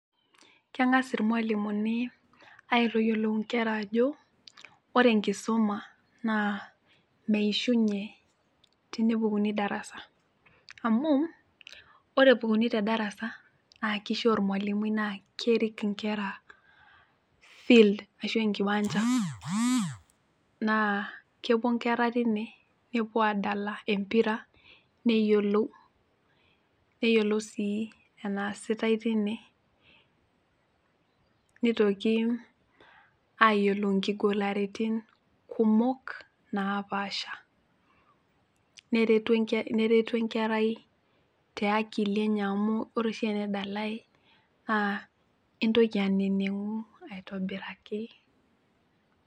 Keng'as irmualimuni aitoyiolou inkera ajo ore enkisuma naa meishunye tenepukuni darasa amu ore epukuni te darasa naa kishia ormualimui naa kerik inkera field ashu enkiwanja naa kepuo inkera tine nepuo adala empira neyiolou, neyiolou sii enaasitae tine nitoki ayiolou inkigularitin kumok napaasha neretu neretu enkerai te akili enye amu ore oshi tene dale naa intoki aneneng'u aitobiraki.